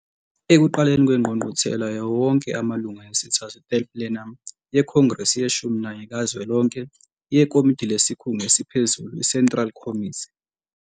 Ekuqaleni kweNgqungquthela yawo wonke amalunga yesithathu, Third Plenum, yeKhongrese yeshumi nanye kazwelonke, yeKomidi lesikhungu esiphezulu i-Central Committee